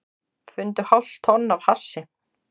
Fundu hálft tonn af hassi